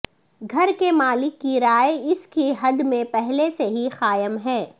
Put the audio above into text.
گھر کے مالک کی رائے اس کی حد میں پہلے سے ہی قائم ہے